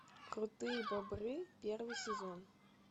крутые бобры первый сезон